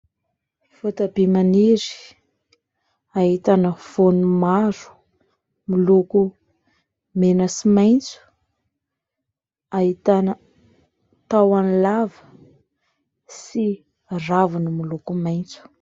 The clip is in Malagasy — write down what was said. Voatabia maniry ahitana voany maro miloko mena sy maitso. Ahitana tahony lava sy raviny miloko maitso.